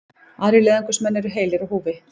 Aðrir leiðangursmenn eru heilir á húfi